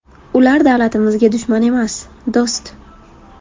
Ular davlatimizga dushman emas, do‘st.